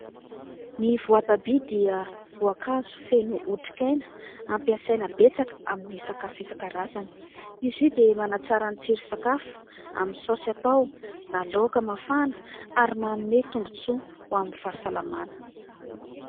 Ny voatabia dia voankazo feno hotrikaina ampiasaina betsaka amin'ny sakafo isan-karazany. Izy io dia manatsara ny tsiro-tsakafo amin'ny saosy atao na laoka mafana ary manome tombon-tsoa ho an'ny fahsalamana.